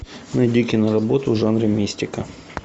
найди киноработу в жанре мистика